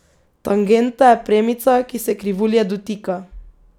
Tangenta je premica, ki se krivulje dotika.